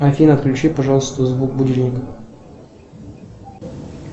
афина включи пожалуйста звук будильника